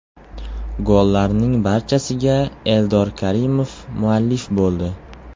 Gollarning barchasiga Eldor Karimov muallif bo‘ldi.